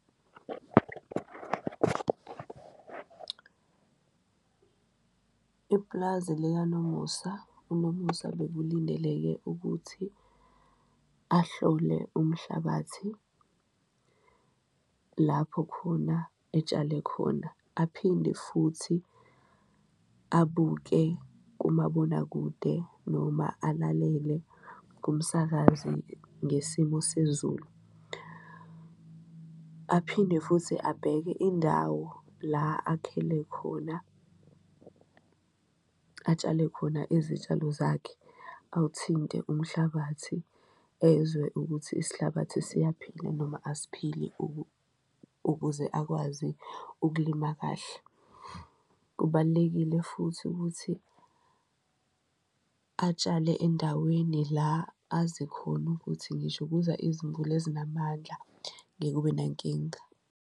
Ipulazi likaNomusa, uNomusa bekulindeleke ukuthi ahlole umhlabathi lapho khona etshale khona aphinde futhi abuke kumabonakude, noma alalele kumsakazi ngesimo sezulu, aphinde futhi abheke indawo la akhele khona, atshale khona izitshalo zakhe. Awuthinte umhlabathi ezwe ukuthi isihlabathi siyaphila noma asiphili ukuze akwazi ukulima kahle, kubalulekile futhi ukuthi atshale endaweni la azi khona ukuthi ngisho kuza izimvula ezinamandla ngeke kube nankinga.